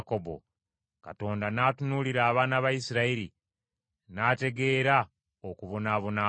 Katonda n’atunuulira abaana ba Isirayiri, n’ategeera okubonaabona kwabwe.